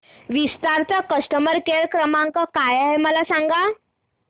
विस्तार चा customer care क्रमांक काय आहे मला सांगा